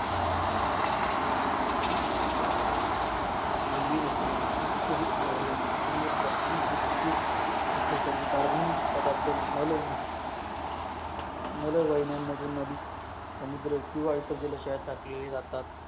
मानवी वस्तीमधून उत्तेजित झालेले मु मुलमुत्र आणि ओद्योगिक अपचारी कार्बन नी पदार्थ मल, मलवळण्य मधून आणि समुद्र किवा इतर जाल्शायात टाकली जातात